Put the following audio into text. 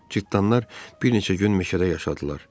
Cırtdanlar bir neçə gün meşədə yaşadılar.